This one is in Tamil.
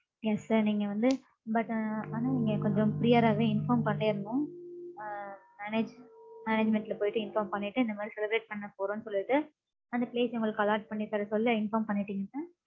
Yes sir நீங்க வந்து, but அஹ் ஆனா, நீங்க, கொஞ்சம், prior ஆவே, inform பன்னிரனும். அஹ் manage management ல போயிட்டு, inform பண்ணிட்டு, இந்த மாரி, celebrate பண்ண போறோம்ன்னு சொல்லிட்டு, அந்த place அ, உங்களுக்கு, allot பண்ணித் தர சொல்லி, inform பண்ணிட்டீங்கனா